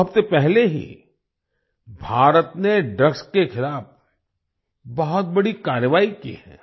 दो हफ्ते पहले ही भारत ने ड्रग्स के खिलाफ बहुत बड़ी कारवाई की है